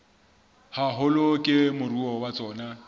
haholo ke moruo wa tsona